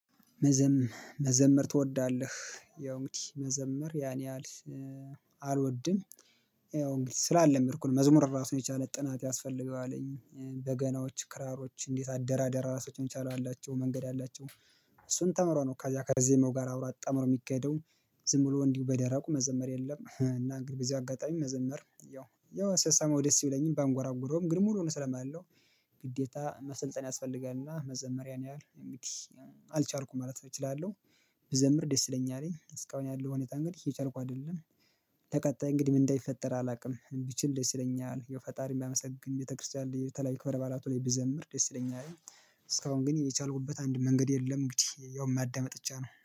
መዘምር መዘመር ትወዳለህ ያው እንግዲህ መዘመር ያን ያህል አልወድም ያው እንግዲህ ስላልለመድኩ ነው። መዝሙር ራሱ የቻለ ጥናት ያስፈልገዋለኝ በገናዎች ክራሮች እንዴት አደራደር ራሳቸውን ቻለው አላቸው መንገድ አላቸው። እሱን ተምሮነው ከዚያ ከዜማው ጋር አብሮ አጣመሮ የሚካሄደው ዝም ብሎ እንዲው በደረቁ መዘመር የለም። እና እንግዲሁ በዚህ አጋጣሚ መዘመር ያው ያው ስሰማው ደስ ብለኝም ባንጎራጉረውም ግን ሙሉውን ስለማለው። ግዴታ መሰልጠን ያስፈልጋልና መዘመር ያንያህል አልቻልኩም ማለት እችላለሁ። ብዘምር ደስ ይለኛል። እስካሁን ያለው ሁኔታ እንግዲህ እየቻልኩ አይደለም። ተቀጣይ እንግዲህ ምን እንዳይፈጠር አላውቅም። ቢችል ደስ ይለኛል ፈጣሪ ባመሰግን ቤተክርስቲያን ላይ የተለያዩ ክበር በአራቱ ላይ ብዘምር ደስ ይለኛል። እስካሁን ግን የቻልኩበት አንድ መንገድ የለም። እንግዲህ ያው ማዳመጥ ብቻ ነው